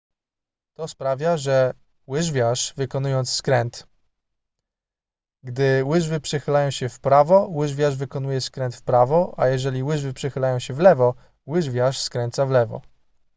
to sprawia że łyżwiarz wykonuje skręt gdy łyżwy przechylają się w prawo łyżwiarz wykonuje skręt w prawo a jeżeli łyżwy przechylają się w lewo łyżwiarz skręca w lewo